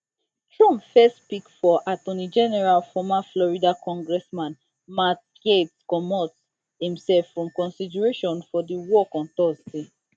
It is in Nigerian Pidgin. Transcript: trump first pick for attorney general former florida congressman matt gaetz comot imself from consideration for di work on thursday